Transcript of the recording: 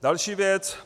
Další věc.